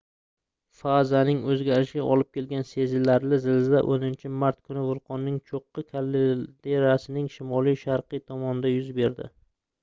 fazaning oʻzgarishiga olib keligan sezilarli zilzila 10-mart kuni vulqonning choʻqqi kalderasining shimoliy-sharqiy tomonida yuz berdi